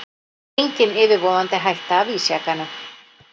Engin yfirvofandi hætta af ísjakanum